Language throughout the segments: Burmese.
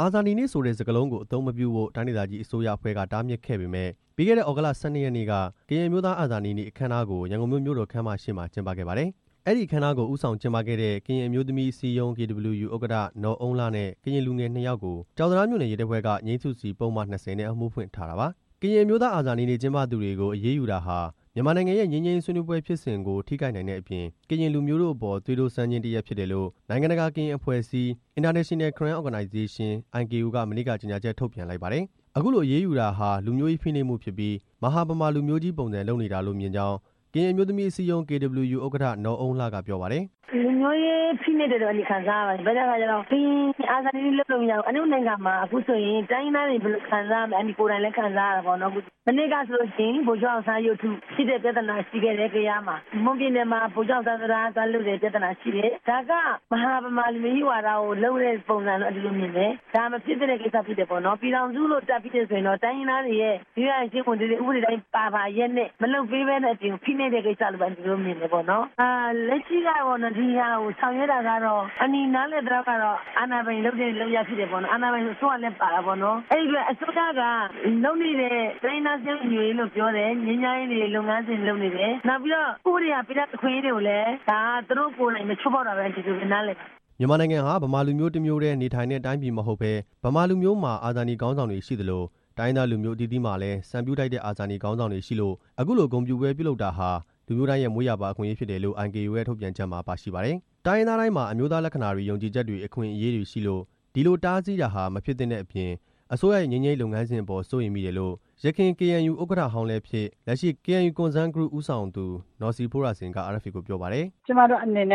အာဇာနည်နေ့ဆိုတဲ့ စကားလုံးကို အသုံးမပြုဖို့ တိုင်းဒေသကြီးအစိုးရအဖွဲ့ကတားမြစ်ခဲ့ပေမယ့် ပြီးခဲ့တဲ့ သြဂုတ်လ ၁၂ ရက်နေ့က ကရင်အမျိုးသားအာဇာနည်နေ့အခမ်းအနားကို ရန်ကုန်မြို့တော်ခန်းမရှေ့ မှာ ကျင်းပခဲ့ပါတယ်။ အဲဒီအခမ်းအနားကို ဦးဆောင်ကျင်းပခဲ့တဲ့ ကရင်အမျိုးသမီးအစည်းအရုံး KWU ဥက္ကဋ္ဌ နော်အုန်းလှနဲ့ ကရင်လူငယ် နှစ်ယောက်ကို ကျောက်တံတားမြို့နယ် ရဲတပ်ဖွဲ့က ငြိမ်းစုစီ ပုဒ်မ ၂၀ နဲ့ အမှုဖွင့် ထားတာပါ။ ကရင်အမျိုးသားအာဇာနည်နေ့ ကျင်းပသူတွေကို အရေးယူတာဟာ မြန်မာနိုင်ငံရဲ့ ငြိမ်းချမ်းရေး ဆွေးနွေးပွဲဖြစ်စဉ်ကို ထိခိုင်နိုင်တဲ့အပြင် ကရင်လူမျိုးတို့အပေါ် သွေးတိုးစမ်းခြင်းတစ်ရပ် ဖြစ်တယ်လို့ နိုင်ငံတကာ ကရင်အဖွဲ့အစည်း (International Karen Organization-IKO) က မနေ့က ကြေညာချက်ထုတ်ပြန်လိုက်ပါတယ်။ အခုလို အရေးယူတာဟာ လူမျိုးရေးဖိနှိပ်မှုဖြစ်ပြီး မဟာဗမာလူမျိုးကြီးပုံစံလုပ်နေတာလို့ မြင်ကြောင်း ကရင်အမျိုးသမီးအစည်းအရုံး KWU ဥက္ကဋ္ဌ နော်အုန်းလှက ပြောပါတယ်။ "လူမျိုးရေးဖိနှိပ်တယ်လို့ အန်တီ ခံစားရပါတယ်၊ ဘာဖြစ်လို့လဲဆိုတော့ ကရင်အာဇာနည်နေ့လုပ်လို့မရဘူး၊ အန်တီတို့နိုင်ငံမှာ အခုဆိုရင် တိုင်းရင်းသားတွေ ဘယ်လိုခံစားရမလဲ အန်တီကိုယ်တိုင်လည်း ခံစားရပါတယ်၊ မနှစ်ကဆိုရင် ဗိုလ်ချုပ် အောင်ဆန်းရုပ်တုဖြစ်တဲ့ပြဿနာ ရှိခဲ့တယ်။ ကယားမှာ၊ မွန်ပြည်နယ်မှာ ဗိုလ်ချုပ်အောင်ဆန်းတံတား သွားလုပ်တဲ့ပြဿနာရှိတယ်၊ ဒါက မဟာဗမာလူမျိုးကြီးဝါဒကို လုပ်တဲ့ပုံစံလို့ အန်တီတို့မြင်တယ်၊ ဒါမဖြစ်သင့်တဲ့ကိစ္စဖြစ်တယ်ပေါ့နော်၊ ပြည်ထောင်စုတပ်ပြီးရင်တော့ တိုင်းရင်းသားတွေရဲ့ ရိုးရာယဉ်ကျေးမှုဓလေ့တွေ ဥပဒေအတိုင်း ပါပါလျက်နဲ့ မလုပ်ပေးတဲ့အပြင် ဖိနှိပ်တဲ့ကိစ္စလို့ပဲ မြင်ပါတယ်၊ လက်ရှိကတော့ ဒီဟာကိုဆောင်ရွက်တာကတော့ အန်တီ နားလည်သလောက်ကတော့ အာဏာပိုင်လုပ်တဲ့လုပ်ရပ် ဖြစ်တယ်ပေါ့နော်၊ အာဏာပိုင်ဆိုတော့ အစိုးရလည်းပါတာပေါ့နော်၊ အဲ့ဒီအတွက် အစိုးရလုပ်နေတဲ့ တိုင်းရင်းသားစည်းလုံးညီညွတ်ရေးလို့ ပြောတယ် ငြိမ်းချမ်းရေးလုပ်ငန်းစဉ် လုပ်နေတယ် နောက်ပြီးတော့ ဥပဒေအရပေးထားတဲ့ အခွင့်အရေးတွေကိုလည်း သူတို့ကိုယ်တိုင်ပဲ ချိုးဖောက်တယ်လို့ အန်တီတို့ ဒီလိုပဲနားလည်ပါတယ်" မြန်မာနိုင်ငံဟာ ဗမာလူမျိုးတစ်မျိုးတည်း နေထိုင်တဲ့တိုင်းပြည်မဟုတ်ဘဲ ဗမာလူမျိုးမှာ အာဇာနည် ခေါင်းဆောင်တွေရှိသလို တိုင်းရင်းသားလူမျိုးအသီးအသီးမှာလည်း စံပြုထိုက်တဲ့ အာဇာနည် ခေါင်းဆောင်တွေရှိလို့ အခုလို ဂုဏ်ပြုပွဲလုပ်တာဟာ လူမျိုးတိုင်းရဲ့မွေးရာပါ အခွင့်အရေးဖြစ်တယ်လို့ IKO ရဲ့ထုတ်ပြန်ချက်မှာ ပါရှိပါတယ်။ တိုင်းရင်းသားတိုင်းမှာ အမျိုးသားလက္ခဏာတွေ ယုံကြည်ချက်တွေ အခွင့်အရေးတွေရှိလို့ ဒီလို တားဆီးတာဟာ မဖြစ်သင့်တဲ့အပြင် အစိုးရရဲ့ငြိမ်းချမ်းရေးလုပ်ငန်းစဉ်အပေါ် စိုးရိမ်မိတယ်လို့ ယခင် KNU ဥက္ကဋ္ဌဟောင်းလည်းဖြစ် လက်ရှိ KNU Concerned Group ဦးဆောင်သူ နော်စီဖိုးရာစိန်က RFA ကိုပြောပါတယ်။ "တစ်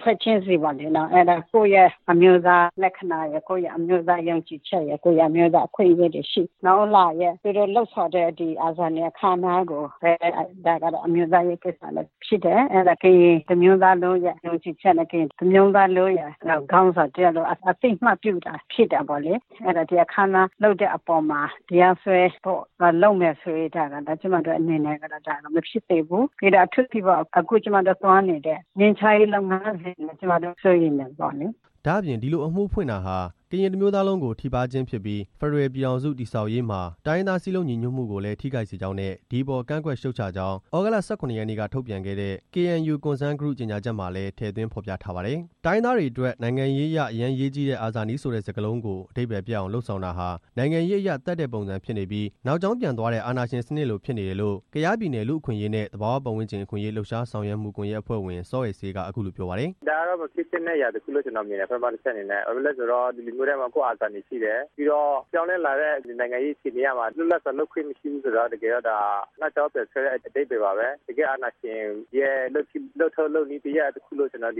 ဖွဲ့ချင်းစီမှာ ကိုယ့်ရဲ့အမျိုးသားလက္ခဏာရယ် ကိုယ့်ရဲ့အမျိုးသားယုံကြည်ချက်ရယ် အမျိုးသားအခွင့်အရေးတွေရှိတယ်၊ နော်အုန်းလှရဲ့ သူတို့လုပ်ဆောင်တဲ့ ဒီအာဇာနည်အခမ်းအနားကိုပဲ ဒါကတော့ အမျိုးသားရေးကိစ္စလည်းဖြစ်တယ်၊ အဲဒါ ကရင်တစ်မျိုးသားလုံးရဲ့ယုံကြည်ချက်နဲ့ ကရင်တစ်မျိုးသားလုံးရဲ့ခေါင်းဆောင်တစ်ယောက်လို့ အသိအမှတ်ပြုတာလည်းဖြစ်တယ်ပေါ့လေ၊ အဲဒါ ဒီအခမ်းအနားလုပ်တဲ့အပေါ်မှာ တရားစွဲဖို့လုပ်မယ်ဆိုရင် ဒါဟာ ကျွန်မတို့အတွက်တော့ ဒါဟာမဖြစ်သင့်ဘူး၊ အထူးသဖြင့်ပေါ့ အခုသွားနေတဲ့ ငြိမ်းချမ်းရေးလုပ်ငန်းစဉ်ကို စိုးရိမ်တယ်" ဒါ့အပြင် ဒီလိုအမှုဖွင့်တာဟာ ကရင်တစ်မျိုးသားလုံးကို ထိပါးခြင်းဖြစ်ပြီး ဖက်ဒရယ် ပြည်ထောင်စု တည်ဆောက်ရေးမှာ တိုင်းရင်းသားစည်းလုံးညီညွတ်မှုကိုလည်း ထိခိုက်စေကြောင်းနဲ့ ဒီအပေါ် ကန့်ကွက်ရှုတ်ချကြောင်း သြဂုတ်လ ၁၇ ရက်နေ့က ထုတ်ပြန်ခဲ့တဲ့ KNU Concerned Group ကြေညာချက်မှာလည်း ထည့်သွင်းဖော်ပြထားပါတယ်။ တိုင်းရင်းသားတွေအတွက် နိုင်ငံရေးအရ အရမ်းအရေးကြီးတဲ့ အာဇာနည်ဆိုတဲ့စကားလုံးကို အဓိပ္ပာယ် ပျက်အောင် လုပ်ဆောင်တာဟာ နိုင်ငံရေးအရ သတ်တဲ့ပုံစံဖြစ်နေပြီး နောက်ကြောင်းပြန်သွားတဲ့ အာဏာရှင်စနစ်လို ဖြစ်နေတယ်လို့ ကယားပြည်နယ် လူ့အခွင့်အရေးနဲ့ သဘာဝပတ်ဝန်းကျင် အခွင့်အရေး လှုပ်ရှားဆောက်ရွက်မှုကွန်ရက် အဖွဲ့ဝင် စောအယ်စေးက အခုလိုပြောပါတယ်။ "ဒါကတော့ မဖြစ်သင့်တဲ့အရာတစ်ခုလို့ မြင်တယ်။ ပထမတစ်ချက်အနေနဲ့၊ ဘာဖြစ်လို့လဲဆိုတော့ လူမျိုးတိုင်းမှာ ကိုယ့်အာဇာနည်ရှိတယ်၊ ပြီးတော့ ပြောင်းလဲလာတဲ့ နိုင်ငံရေးအခြေအနေအရမှာ လွတ်လပ်စွာ လုပ်ခွင့်မရှိဘူးဆိုတော့ တကယ်တော့ ဒါနောက်ကြောင်းပြန်ဆွဲတဲ့ အဓိပ္ပာယ်ပါပဲ၊ တကယ့်အာဏာရှင်ရဲ့ လုပ်ထုံးလုပ်နည်းတစ်ရပ်လို့ တိုင်းရင်းသား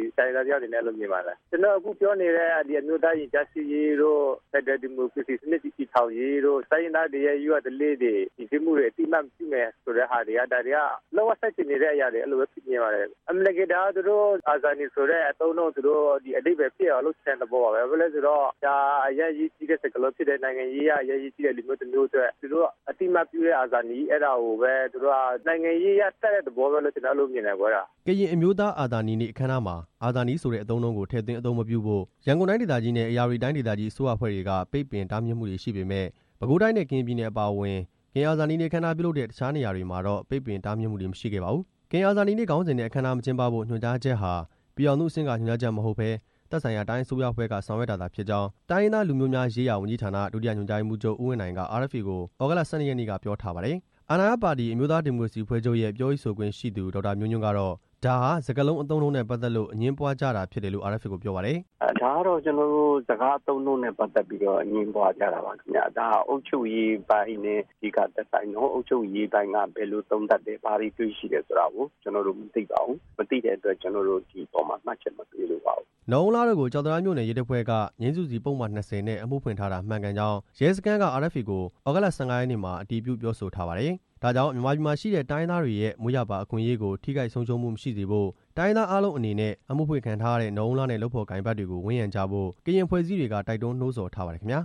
တစ်ယောက်အနေနဲ့ မြင်ပါတယ်၊ ကျွန်တော်တို့ အခုပြောနေတဲ့ အမျိုးသားရင်ကြားစေ့ရေးတို့ ဖက်ဒရယ် ဒီမိုကရေစီစနစ် တည်ဆောက်ရေးတို့ တိုင်းရင်းသားတွေရဲ့ရိုးရာဓလေ့တွေ ယဉ်ကျေးမှုတွေ အသိအမှတ်ပြုမယ်ဆိုတဲ့ဟာတွေက ဒါတွေက လုံးဝဆန့်ကျင်နေတဲ့အရာတွေလို့ပဲ မြင်ပါတယ်၊ အမှန်တကယ် ဒါက အာဇာနည်ဆိုတဲ့ အသုံးအနှုန်းကို အဓိပ္ပာယ်ပျက်အောင် လုပ်ချင်တဲ့သဘောပါပဲ၊ ဘာဖြစ်လို့လဲဆိုတော့ ဒါဟာ အရမ်းအရေးကြီးတဲ့ စကားလုံးဖြစ်တယ်၊ နိုင်ငံရေးအရ အရမ်းအရေးကြီးတယ်။ လူမျိုးတစ်မျိုးအတွက် သူတို့အသိအမှတ်ပြုတဲ့ အာဇာနည်၊ ဒါကိုပဲသူတို့ နိုင်ငံရေးအရ သတ်တဲ့သဘောပဲလို့ ကျွန်တော်မြင်ပါတယ်" ကရင်အမျိုးသား အာဇာနည်နေ့ အခမ်းအနားမှာ အာဇာနည်ဆိုတဲ့ အသုံးအနှုန်းကို ထည့်သွင်း အသုံးမပြုဖို့ ရန်ကုန်တိုင်းဒေသကြီးနဲ့ ဧရာဝတီတိုင်းဒေသကြီး အစိုးရအဖွဲ့တွေက ပိတ်ပင်တားမြစ်မှုတွေရှိခဲ့ပေမယ့် ပဲခူးတိုင်းနဲ့ ကရင်ပြည်နယ်အပါအဝင် ကရင်အာဇာနည်နေ့ အခမ်းအနားပြုလုပ်တဲ့ အခြားနေရာတွေမှာတော့ ပိတ်ပင်တားမြစ်မှုတွေ မရှိခဲ့ပါဘူး။ ကရင်အာဇာနည်နေ့ ခေါင်းစဉ်နဲ့ အခမ်းအနား မကျင်းပဖို့ ညွှန်ကြားချက်ဟာ ပြည်ထောင်စုအဆင့်က ညွှန်ကြားချက်မဟုတ်ဘဲ သက်ဆိုင်ရာ တိုင်းအစိုးရအဖွဲ့က ဆောင်ရွက်တာသာဖြစ်ကြောင်း တိုင်းရင်းသား လူမျိုးများရေးရာဝန်ကြီးဌာန ဒုတိယ ညွှန်ကြားရေးမှူးချုပ် ဦးဝင်းနိုင်က RFA ကို သြဂုတ်လ ၁၂ ရက်နေ့က ပြောထားပါတယ်။ အာဏာရပါတီ အမျိုးသားဒီမိုကရေစီအဖွဲ့ချုပ်ရဲ့ ပြောရေးဆိုခွင့်ရှိသူ ဒေါက်တာ မျိုးညွန်ကတော့ ဒါဟာ စကားအသုံးအနှုန်းနဲ့ပတ်သက်လို့ အငြင်းပွားကြတာဖြစ်တယ်လို့ RFA ကိုပြောပါတယ်။ "ဒါကတော့ ကျွန်တော်တို့ စကားအသုံးအနှုန်းနဲ့ပတ်သက်ပြီးတော့ အငြင်းပွားကြတာပါခင်ဗျ၊ ဒါအုပ်ချုပ်ရေးပိုင်းနဲ့ အဓိကသက်ဆိုင်တော့ အုပ်ချုပ်ရေးပိုင်းက ဘယ်လိုသုံးသပ်တယ် ဘာတွေ တွေ့ရှိတယ်ဆိုတာကို ကျွန်တော်တို့ မသိပါဘူး၊ မသိတဲ့အတွက် ဒီပေါ်မှာ မှတ်ချက်မပေးလိုပါဘူး" နော်အုန်းလှတို့ကို ကျောက်တံတားမြို့နယ် ရဲတပ်ဖွဲ့က ငြိမ်းစုစီ ပုဒ်မ ၂၀ နဲ့ အမှုဖွင့်ထားတာ မှန်ကန်ကြောင်း ရဲစခန်းက RFA ကို သြဂုတ်လ ၁၅ ရက်နေ့မှာ အတည်ပြုပြောဆိုထားပါတယ်။ ဒါကြောင့် မြန်မာပြည်မှာရှိတဲ့ တိုင်းရင်းသားတွေရဲ့ မွေးရာပါအခွင့်အရေးတွေကို ထိခိုက်ဆုံးရှုံးမှု မရှိစေဖို့ တိုင်းရင်းသားအားလုံးအနေနဲ့ အမှုဖွင့်ခံထားရတဲ့ နော်အုန်းလှနဲ့ လုပ်ဖော်ကိုင်ဖက်တွေကို ဝန်းရံကြဖို့ ကရင်အဖွဲ့အစည်းတွေက တိုက်တွန်းနှိုးဆော်ထားပါတယ်ခင်ဗျာ